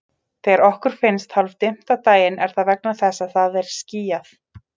Þegar okkur finnst hálfdimmt á daginn er það vegna þess að það er skýjað.